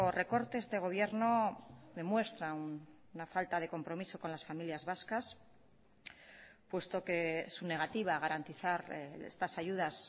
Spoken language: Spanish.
recorte este gobierno demuestra una falta de compromiso con las familias vascas puesto que su negativa a garantizar estas ayudas